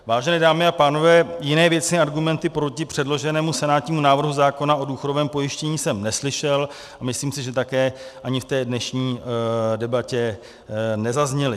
Vážené dámy a pánové, jiné věcné argumenty proti předloženému senátnímu návrhu zákona o důchodovém pojištění jsem neslyšel a myslím si, že také ani v té dnešní debatě nezazněly.